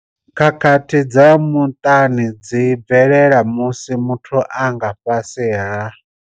Khakhathi dza muṱani dzi bvelela musi muthu a nga fhasi ha.